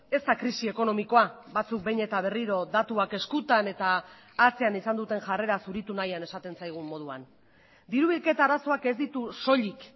ez da krisi ekonomikoa batzuk behin eta berriro datuak eskutan eta atzean izan duten jarrera zuritu nahian esaten zaigun moduan diru bilketa arazoak ez ditu soilik